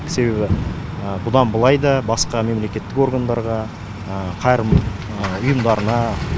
себебі бұдан былай да басқа мемлекеттік органдарға қайырымдылық ұйымдарына